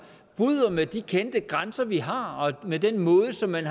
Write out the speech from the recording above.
bryder med de kendte grænser vi har og med den måde som man